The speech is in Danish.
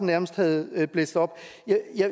nærmest havde blæst op